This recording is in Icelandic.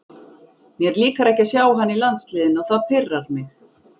Mér líkar ekki að sjá hann í landsliðinu og það pirrar mig.